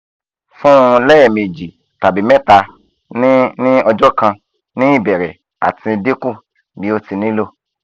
fun un lẹmeji tabi mẹta ni ni ọjọ kan ni ibẹrẹ ati dinku bi o ti nilo